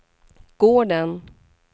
gården